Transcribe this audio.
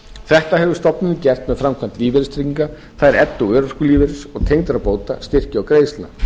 þetta hefur stofnunin gert með framkvæmd lífeyristrygginga það er elli og örorkulífeyris tengdra bóta styrkja og greiðslna